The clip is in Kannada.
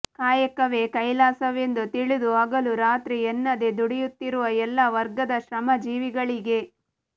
ಕಾಯಕವೇ ಕೈಲಾಸವೆಂದು ತಿಳಿದು ಹಗಲು ರಾತ್ರಿ ಎನ್ನದೆ ದುಡಿಯುತ್ತಿರುವ ಎಲ್ಲಾ ವರ್ಗದ ಶ್ರಮಜೀವಿಗಳಿಗೆ